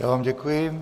Já vám děkuji.